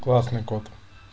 классный кот